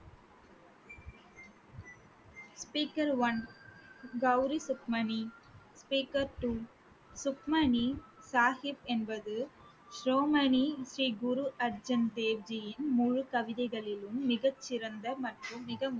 speaker one Gauri Sukhmani speaker two Sukhmani Sahib என்பது ஸ்ரீ குரு அர்ஜூன் தேவ்ஜியின் முழு கவிதைகளிலும் மிகச்சிறந்த மற்றும் மிக